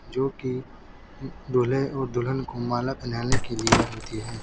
जोकि दूल्हे और दुल्हन को माला पहनाने के लिए होती है।